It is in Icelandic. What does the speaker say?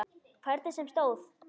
Hvernig sem á stóð.